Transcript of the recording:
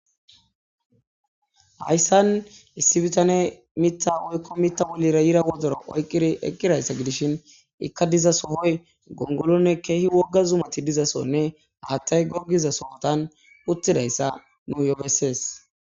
hayssan issi bitane mitta woykko mitta wolira yira wodora oyqqiri eqqidayssa gidishin ikka diza sohoy gongolonne keehi wogga zumati dizasonne haattay goggiza sohotan uttidayssa nu yopessees